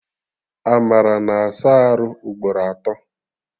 Amara na-asa arụ ugboro atọ